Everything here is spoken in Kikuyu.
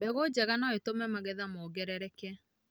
Mbegũ njega no itũme magetha mongerereke.